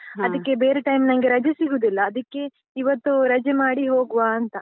ಅದಿಕ್ಕೆ ಬೇರೆ time ನಂಗೆ ರಜೆ ಸಿಗುದಿಲ್ಲ, ಅದಿಕ್ಕೆ ಇವತ್ತು ರಜೆ ಮಾಡಿ ಹೋಗುವಾ ಅಂತ.